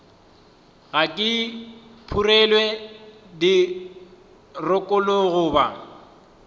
ga di phurelwe dirokolo goba